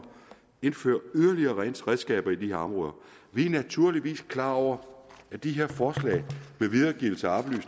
indføre yderligere redskaber i de her områder vi er naturligvis klar over at de her forslag